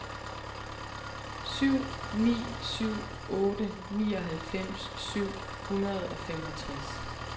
syv ni syv otte nioghalvfems syv hundrede og femogtres